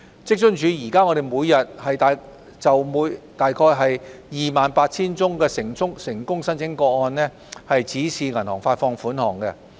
職津處現時每天約就 28,000 宗成功申請個案指示銀行發放款項。